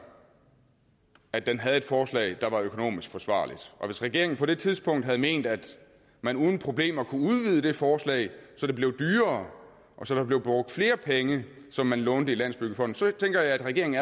at den havde et forslag der var økonomisk forsvarligt og hvis regeringen på det tidspunkt havde ment at man uden problemer kunne udvide det forslag så det blev dyrere og så der blev brugt flere penge som man lånte i landsbyggefonden så tænker jeg at regeringen